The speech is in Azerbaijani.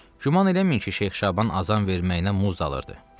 Güman eləməyin ki, Şeyx Şaban azan verməyinə muz dalırdı.